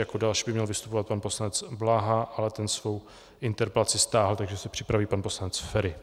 Jako další by měl vystupovat pan poslanec Bláha, ale ten svou interpelaci stáhl, takže se připraví pan poslanec Feri.